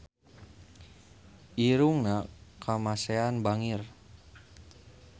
Irungna Kamasean bangir